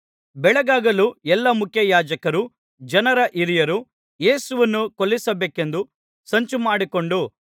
ಬೆಳಗಾಗಲು ಎಲ್ಲಾ ಮುಖ್ಯಯಾಜಕರೂ ಜನರ ಹಿರಿಯರೂ ಯೇಸುವನ್ನು ಕೊಲ್ಲಿಸಬೇಕೆಂದು ಸಂಚುಮಾಡಿಕೊಂಡು